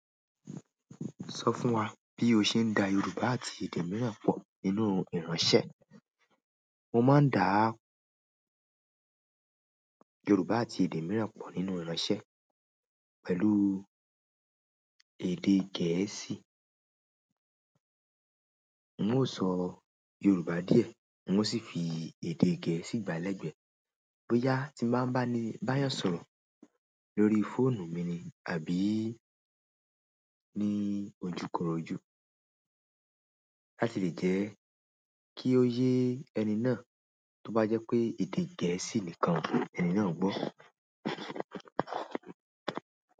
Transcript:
Sọ fún wa bí o ṣe ń da Yorùbá àti èdè mìíràn pọ̀ nínú iranṣẹ́. Mo máa ń dáa Yorùbá àti èdè mìíràn pọ̀ nínú iranṣẹ́ pẹ̀lú èdè Gẹ̀ẹ́sì. N ó sọ Yorùbá díẹ̀ mo sì fi èdè Gẹ̀ẹ́sì gbà lẹ́gbẹ́. Bóyá tí màá bá ni ba eyan sọ̀rọ̀ lórí fóònù mi àbí ní ojúkorojú láti lè jẹ́ kí ó yé ẹni náà, tó bá jẹ́ pé èdè Gẹ̀ẹ́sì nìkan ẹni náà gbọ́.